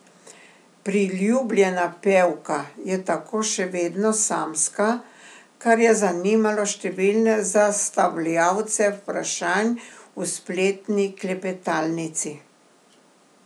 Priljubljena pevka je tako še vedno samska, kar je zanimalo številne zastavljavce vprašanj v spletni klepetalnici.